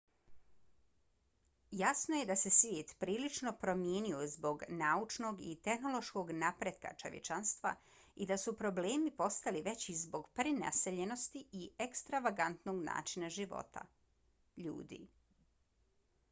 jasno je da se svijet prilično promijenio zbog naučnog i tehnološkog napretka čovječanstva i da su problemi postali veći zbog prenaseljenosti i ekstravagantnog načina života ljudi